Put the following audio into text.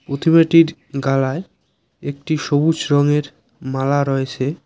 প্রতিমাটির গালায় একটি সবুজ রঙের মালা রয়েছে।